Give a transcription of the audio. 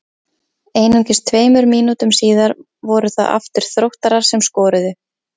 Einungis tveimur mínútum síðar voru það aftur Þróttarar sem skoruðu.